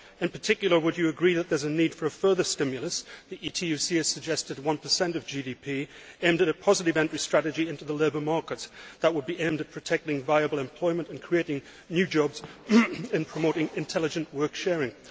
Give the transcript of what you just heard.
In particular, would you agree that there is a need for a further stimulus the ETUC has suggested 1 of GDP aimed at a positive entry strategy into the labour market that would be aimed at protecting viable employment and creating new jobs, in promoting intelligent work sharing?